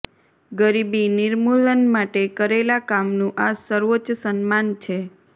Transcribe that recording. ગરીબી નિર્મૂલન માટે કરેલા કામનું આ સર્વોચ્ચ સન્માન છે